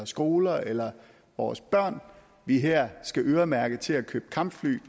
skoler eller vores børn vi her skal øremærke til at købe kampfly